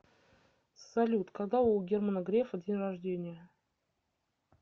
салют когда у германа грефа день рождения